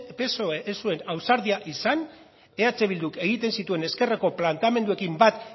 psoe ez zuen ausardia izan eh bilduk egiten zituen ezkerreko planteamenduekin bat